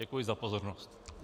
Děkuji za pozornost.